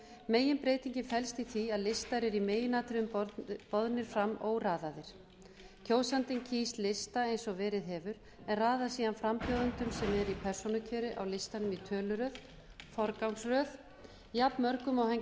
meginbreytingin felst í því að listar eru í meginatriðum boðnir fram óraðaðir kjósandinn kýs lista eins og verið hefur en raðar síðan frambjóðendum sem eru í persónukjöri á listanum í töluröð forgangsröð jafnmörgum og hann kýs